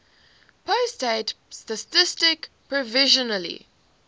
pusat statistik provisionally